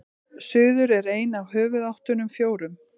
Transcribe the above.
suður er ein af höfuðáttunum fjórum